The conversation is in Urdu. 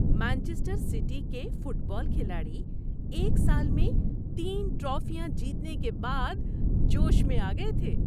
مانچسٹر سٹی کے فٹ بال کھلاڑی ایک سال میں تین ٹرافیاں جیتنے کے بعد جوش میں آ گئے تھے۔